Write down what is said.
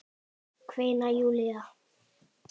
kveinar Júlía.